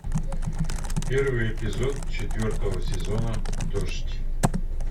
первый эпизод четвертого сезона дождь